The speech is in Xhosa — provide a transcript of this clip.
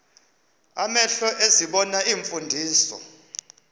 amehlo ezibona iimfundiso